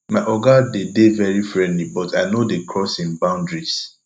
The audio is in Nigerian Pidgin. my oga dey dey very friendly but i no dey cross im boundaries